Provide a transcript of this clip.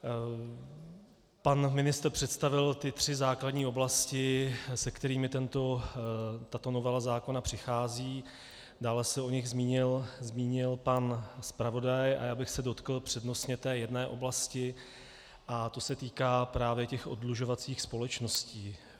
Pan ministr představil ty tři základní oblasti, se kterými tato novela zákona přichází, dále se o nich zmínil pan zpravodaj a já bych se dotkl přednostně té jedné oblasti, a to se týká právě těch oddlužovacích společností.